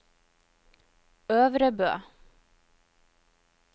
Øvrebø